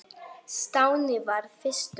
Stjáni varð fyrstur fram.